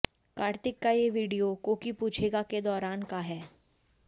कार्तिक का ये वीडियो कोकी पूछेगा के दौरान का है